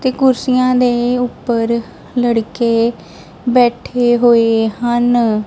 ਤੇ ਕੁਰਸੀਆਂ ਦੇ ਉੱਪਰ ਲੜਕੇ ਬੈਠੇ ਹੋਏ ਹਨ।